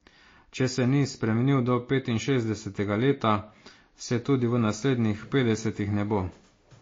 Če se ni spremenil do petinšestdesetega leta, se tudi v naslednjih petdesetih ne bo.